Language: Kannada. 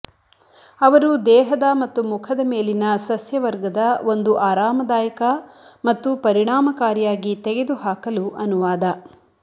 ಅವರು ದೇಹದ ಮತ್ತು ಮುಖದ ಮೇಲಿನ ಸಸ್ಯವರ್ಗದ ಒಂದು ಆರಾಮದಾಯಕ ಮತ್ತು ಪರಿಣಾಮಕಾರಿಯಾಗಿ ತೆಗೆದುಹಾಕಲು ಅನುವಾದ